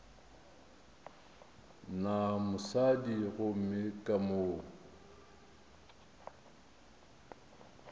na mosadi gomme ka mo